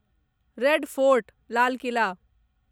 red fort Lal Qila